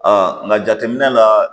nka jateminɛ la